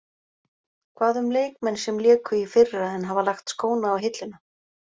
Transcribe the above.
Hvað um leikmenn sem léku í fyrra en hafa lagt skóna á hilluna.